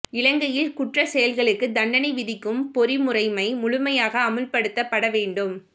இலங்கையில் குற்றச் செயல்களுக்கு தண்டனை விதிக்கும் பொறிமுறைமை முழுமையாக அமுல்படுத்தப்பட வேண்டும்